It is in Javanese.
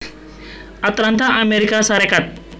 Atlanta Amérika Sarékat